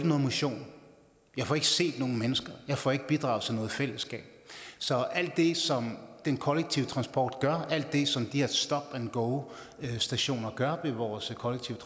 nogen motion jeg får ikke set nogen mennesker jeg får ikke bidraget til noget fællesskab så alt det som den kollektive transport gør alt det som de her stop and go stationer gør ved vores kollektive